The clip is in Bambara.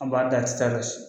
An b'a da a ti taa yɔrɔ si.